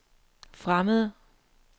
fremmede